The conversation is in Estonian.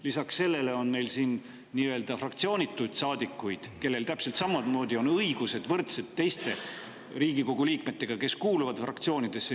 Lisaks sellele on meil siin fraktsioonituid saadikuid, kellel täpselt samamoodi on võrdsed õigused teiste Riigikogu liikmetega, kes kuuluvad fraktsioonidesse.